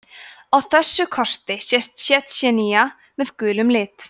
á þessu korti sést tsjetsjenía með gulum lit